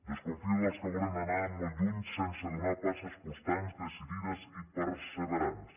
desconfio dels que volen anar molt lluny sense donar passes constants decidides i perseverants